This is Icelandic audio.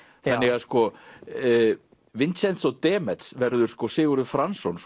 þannig að Vincenzo Demetz verður Sigurður Franzson